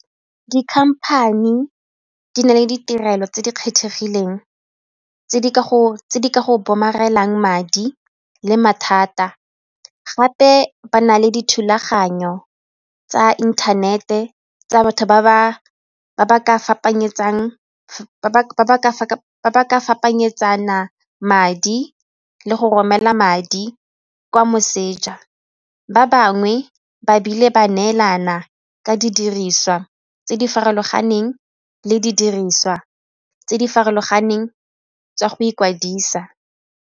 Di-company di na le ditirelo tse di kgethegileng tse di ka go madi le mathata gape ba na le dithulaganyo tsa inthanete tsa batho ba ba ka madi le go romela madi kwa moseja. Ba bangwe ba bile ba neelana ka didiriswa tse di farologaneng le di diriswa tse di farologaneng tsa go ikwadisa.